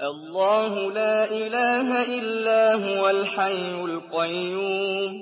اللَّهُ لَا إِلَٰهَ إِلَّا هُوَ الْحَيُّ الْقَيُّومُ ۚ